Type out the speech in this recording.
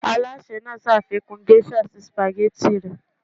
alase naa ṣafikun geisha si spaghetti rẹ